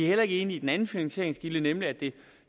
heller ikke enige i den anden finansieringskilde nemlig at det